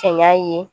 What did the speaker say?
Cɛɲa ye